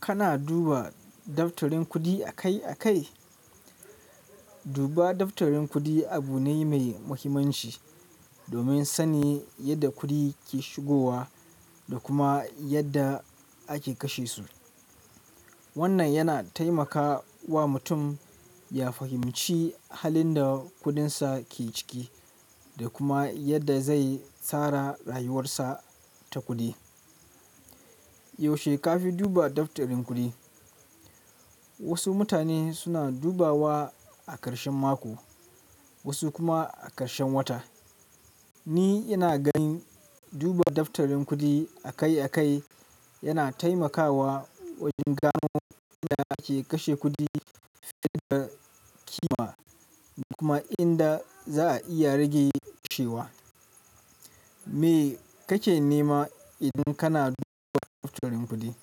Kana duba daftarin kuɗi akai-akai? Duba daftarin kuɗi abu ne mai muhimmanci domin sanin yadda kuɗi ke shigowa da kuma yadda ake kashe su. Wannan yana taimakawa mutum ya fahimci halin da kudinsa ke ciki da kuma yadda zai tsara rayuwarsa ta kuɗi. Yaushe ka fi duba daftarin kuɗi? Wasu mutane suna dubawa a ƙarshen mako, wasu kuma a ƙarshen wata. Ni ina ganin duba daftarin kuɗi akai-akai yana taimakawa wajen gano inda ake kashe kuɗi, inda ake ƙima da kuma inda za'a iya rage shi. Me kake nema idan kana duba daftarin kuɗi?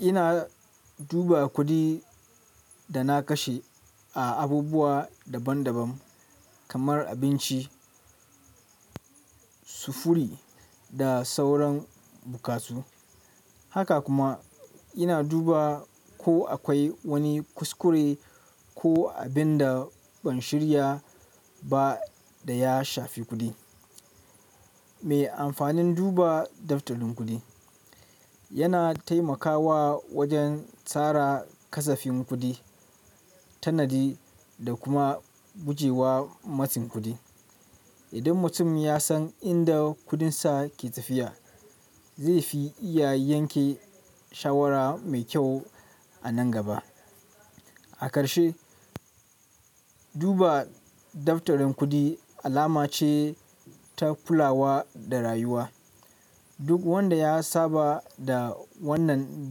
Ina duba kuɗin da na kashe a abubuwa daban-daban kamar abinci, sufuri da sauran buƙatu. Haka kuma ina duba ko akwai wani kuskure ko abin da ban shirya ba da ya shafi kuɗi. Me amfanin duba daftarin kuɗi? Yana taimakawa wajen tsara kasafin kuɗi, tanadi da kuma gujewa matsin kuɗi. Idan mutum ya san inda kudinsa ke tafiya, zai fi iya yanke shawara mai kyau a nan gaba. A ƙarshe, duba daftarin kuɗi alama ce ta kulawa da rayuwa. Duk wanda ya saba da wannan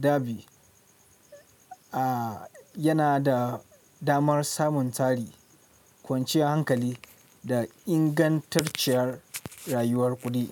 dabi'a yana da damar samun tari, kwanciyar hankali da ingantacciyar rayuwar kuɗi.